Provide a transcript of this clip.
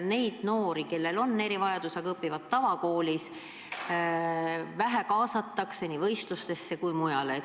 Neid noori, kellel on erivajadus, aga kes õpivad tavakoolis, kaasatakse vähe nii võistlustele kui muusse tegevusse.